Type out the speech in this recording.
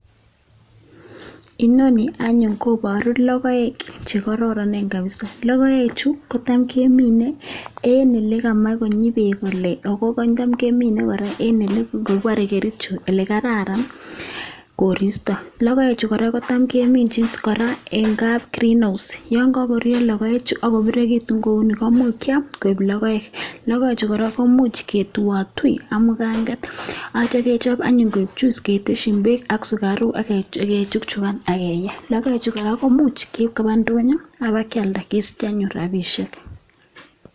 Inoni anyun koparu logoek che koraranen kapsa, logoek chu kotam keminei eng ole mae konyi beek kole, ako tam kemine kora eng kopare Kericho ole kararan koristo. Logoechu kora kotam keminchis kora eng kap green house, yon kakoruuryo logoechu ako pirirekitu kouni komuch kiam koip logoek, logoechu kora komuch ketuotui ak mungaket atyo kechop anyuun koek chuis keteshin beek ak sukaruk akechukchukan ak kiye, logoechu kora komuch keip koba ndonyo ako ipkealda kesich anyun rapishek.